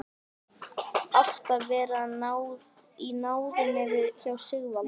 Alltaf verið í náðinni hjá Sigvalda.